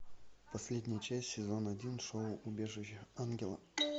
последняя часть сезон один шоу убежище ангела